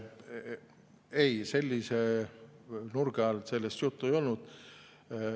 Ei, sellise nurga alt sellest juttu ei olnud.